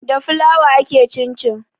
Da flour ake cincin